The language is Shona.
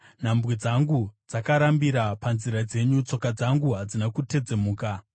Nhambwe dzangu dzakarambira panzira dzenyu; tsoka dzangu hadzina kutedzemuka.